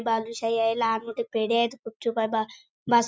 बालुशाही आहे लहान मोठे पेढे आहेत गुपचूप आहे बा बासुंदी--